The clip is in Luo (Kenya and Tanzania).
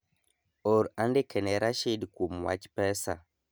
or andike ne Rashid kuom wach pesa